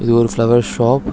இது ஒரு flower shop .